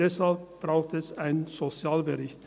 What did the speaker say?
Deshalb braucht es einen Sozialbericht.